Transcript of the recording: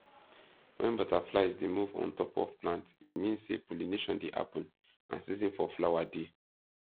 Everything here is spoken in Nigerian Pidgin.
when butterflies dey move on top of plant e mean say pollination dey happen and season for flower dey